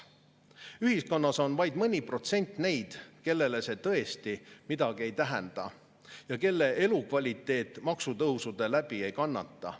Ühiskonnas on vaid mõni protsent neid, kellele see tõesti midagi ei tähenda ja kelle elukvaliteet maksutõusude tõttu ei kannata.